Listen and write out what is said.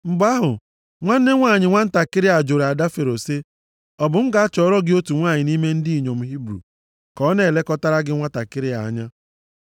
Mgbe ahụ, nwanne nwanyị nwantakịrị a jụrụ ada Fero sị, “Ọ bụ m gaa chọọrọ gị otu nwanyị nʼime ndị inyom Hibru ka ọ na-elekọtaara gị nwantakịrị a anya?”